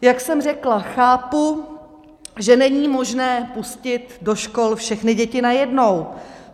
Jak jsem řekla, chápu, že není možné pustit do škol všechny děti najednou.